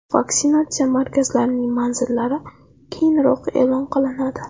Vaksinatsiya markazlarining manzillari keyinroq e’lon qilinadi.